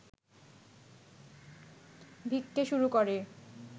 ভিক্ষে শুরু করে